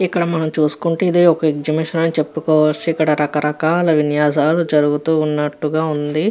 ఇక్కడ మనం చూసుకుంటేయిది ఒక ఎక్సిబిషన్ అని మనం చెప్పుకోవచ్చు. ఇక్కడ రక రకాల విన్యాసాలు జరుగుతూ వున్నట్టు వుంది.